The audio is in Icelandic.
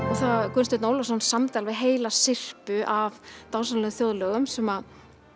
Gunnsteinn Ólafsson samdi alveg heila syrpu af dásamlegum þjóðlögum sem